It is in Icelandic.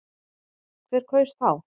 Hver kaus þá?